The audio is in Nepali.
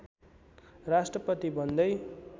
राष्ट्रपति बन्दै